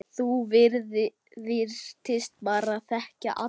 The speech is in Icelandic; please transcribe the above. Þú virtist bara þekkja alla.